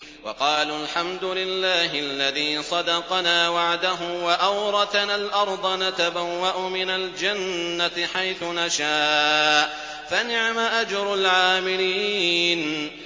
وَقَالُوا الْحَمْدُ لِلَّهِ الَّذِي صَدَقَنَا وَعْدَهُ وَأَوْرَثَنَا الْأَرْضَ نَتَبَوَّأُ مِنَ الْجَنَّةِ حَيْثُ نَشَاءُ ۖ فَنِعْمَ أَجْرُ الْعَامِلِينَ